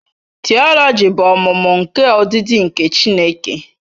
Theology bụ ọmụmụ nke ọdịdị nke Chineke.